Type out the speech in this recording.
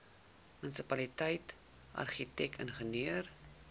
munisipaliteit argitek ingenieur